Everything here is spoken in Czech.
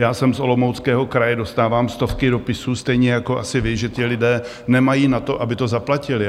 Já jsem z Olomouckého kraje, dostávám stovky dopisů, stejně jako asi vy, že ti lidé nemají na to, aby to zaplatili.